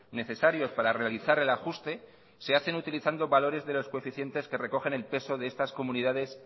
necesarios para realizar el ajuste se hacen utilizando valores de los coeficientes que recogen el peso de estas comunidades